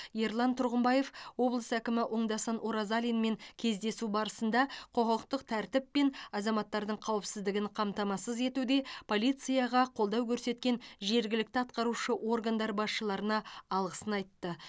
ерлан тұрғымбаев облыс әкімі оңдасын оразалинмен кездесу барысында құқықтық тәртіп пен азаматтардың қауіпсіздігін қамтамасыз етуде полицияға қолдау көрсеткен жергілікті атқарушы органдар басшыларына алғысын айтты